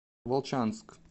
волчанск